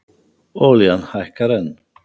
Olían hækkar enn